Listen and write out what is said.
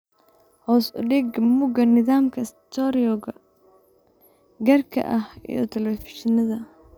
Hoos u dhig mugga nidaamka stereo-ga gaarka ah iyo telefishinnada.